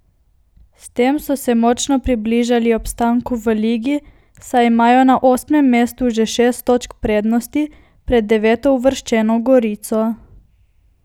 S tem so se močno približali obstanku v ligi, saj imajo na osmem mestu že šest točk prednosti pred devetouvrščeno Gorico.